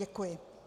Děkuji.